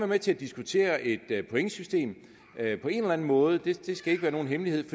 med til at diskutere et pointsystem på en eller anden måde det skal ikke være nogen hemmelighed